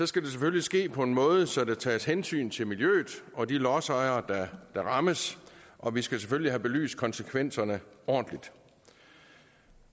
skal det selvfølgelig ske på en måde så der tages hensyn til miljøet og de lodsejere der rammes og vi skal selvfølgelig have belyst konsekvenserne ordentligt